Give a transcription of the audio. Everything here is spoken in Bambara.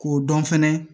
K'o dɔn fɛnɛ